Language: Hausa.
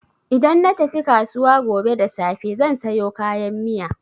Idan na tafi kasuwa gobe da safe zan sayo kayan miya.